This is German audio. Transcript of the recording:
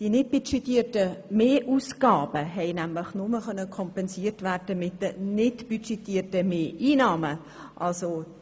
Die nicht budgetierten Mehrausgaben konnten nämlich nur mit den nicht budgetierten Mehreinnahmen kompensiert werden.